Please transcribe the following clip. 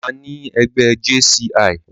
Àní ẹgbẹ́ JCI.